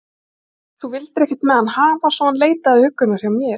Þú vildir ekkert með hann hafa, svo hann leitaði huggunar hjá mér.